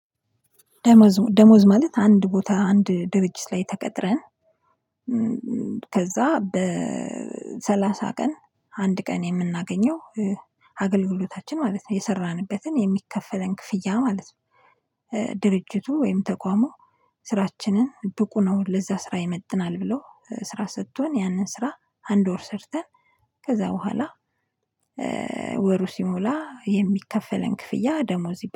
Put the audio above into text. ደሞዝ ደሞዝ ማለት አንድ ቦታ አንድ ድብጅት ላይ ተቀጥረን ከዛ በሰላሳ ቀን አንድ ቀን የምናገኘው አገልግሎታችን ማለት ነው የሰራንበትን የሚከፈለን ክፍያ ማለት ነው። ድርጅቱ ወይም ተቋሙ ስራችንን ብቁ ነው ለዛ ስራ ይመጥናል ብለው ስራ ሰቶን ያንን ስራ አንድ ወር ሰርተን ከዛ በኋላ ሲሞላ የሚከፈለን ክፍያ ደሞዝ ይባላል።